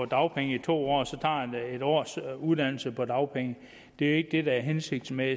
dagpenge i to år og så tager en års uddannelse på dagpenge det er ikke det der er hensigten med